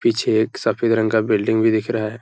पीछे एक सफ़ेद रंग का बिल्डिंग भी दिख रहा है।